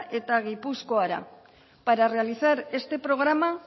eta gipuzkoara para realizar este programa